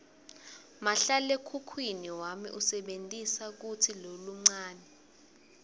mahlalekhukhwini wami usebentisa lutsi loluncane